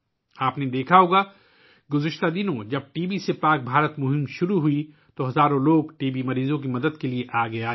آپ نے دیکھا ہو گا کہ گذشتہ دنوں ، جب ٹی بی سے پاک بھارت مہم شروع ہوئی تو ہزاروں لوگ ٹی بی مریضوں کی مدد کے لیے آگے آئے